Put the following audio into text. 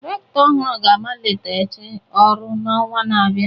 Rector ọhụrụ ga-amaliteghachi ọrụ n'ọnwa na-abịa